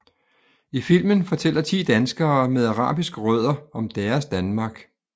I filmen fortæller 10 danskere med arabiske rødder om deres Danmark